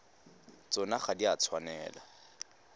tsona ga di a tshwanela